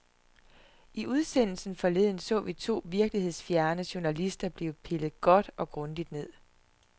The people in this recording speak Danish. I udsendelsen forleden så vi to virkelighedsfjerne journalister blive pillet godt og grundigt ned.